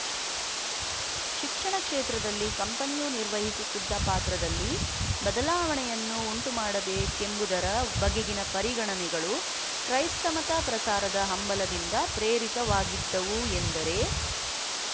ಶಿಕ್ಷಣ ಕ್ಷೇತ್ರದಲ್ಲಿ ಕಂಪನಿಯು ನಿರ್ವಹಿಸುತ್ತಿದ್ದ ಪಾತ್ರದಲ್ಲಿ ಬದಲಾವಣೆಯನ್ನು ಉಂಟುಮಾಡಬೇಕೆಂಬುದರ ಬಗೆಗಿನ ಪರಿಗಣನೆಗಳು ಕ್ರೈಸ್ತಮತ ಪ್ರಸಾರದ ಹಂಬಲದಿಂದ ಪ್ರೇರಿತವಾಗಿದ್ದವು ಎಂದರೆ